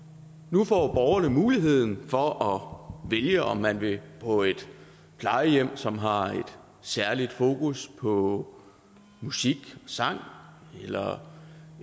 nu får borgerne muligheden for at vælge om man vil på et plejehjem som har et særligt fokus på musik og sang eller